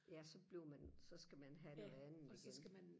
ja så bliver man så skal man have noget andet igen